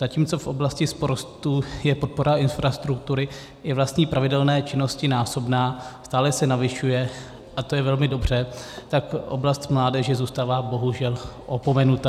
Zatímco v oblasti sportu je podpora infrastruktury i vlastní pravidelné činnosti násobná, stále se navyšuje a to je velmi dobře, tak oblast mládeže zůstává, bohužel, opomenuta.